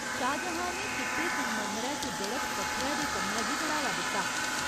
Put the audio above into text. शाहजहाँ ने चिट्टे संगमरमरै च जड़त पत्थरै दे कम्मै गी बढ़ावा दित्ता।